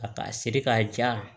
A siri k'a ja